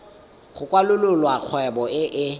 go kwalolola kgwebo e e